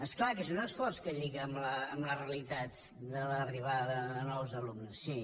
és clar que és un esforç que lliga amb la realitat de l’arribada de nous alumnes sí